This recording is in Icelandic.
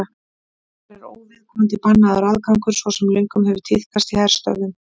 þar er óviðkomandi bannaður aðgangur svo sem löngum hefur tíðkast í herstöðvum